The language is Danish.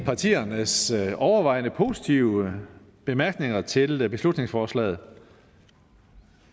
partiernes overvejende positive bemærkninger til beslutningsforslaget